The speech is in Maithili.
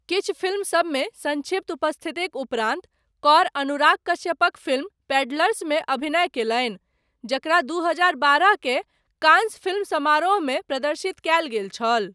किछु फिल्म सबमे सङ्क्षिप्त उपस्थितिक उपरान्त, कौर, अनुराग कश्यपक फिल्म पेडलर्समे अभिनय कयलनि, जकरा दू हजार बारह केर, कांस फिल्म समारोहमे प्रदर्शित कयल गेल छल।